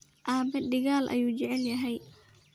Aabe digal ayu jeclhy.